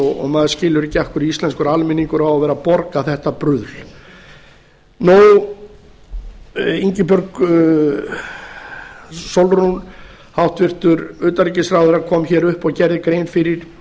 og maður skilur ekki af hverju íslenskur almenningur á að vera að borga þetta bruðl ingibjörg sólrún hæstvirts utanríkisráðherra kom hér upp og gerði grein fyrir